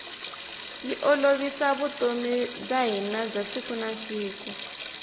yi olovisa vutomi bya hina bya siku na siku